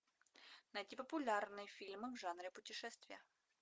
найти популярные фильмы в жанре путешествия